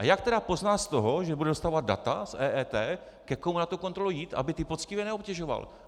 A jak tedy pozná z toho, že bude dostávat data z EET, ke komu na tu kontrolu jít, aby ty poctivé neobtěžoval?